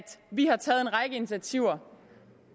vi har taget en række initiativer